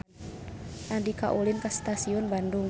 Andika ulin ka Stasiun Bandung